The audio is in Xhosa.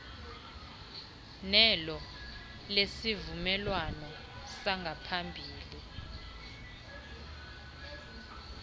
nelo lesivumelwano sangaphambili